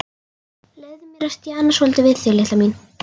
Leyfðu mér að stjana svolítið við þig, litla mín.